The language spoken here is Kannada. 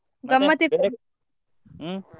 ಹ್ಮ್?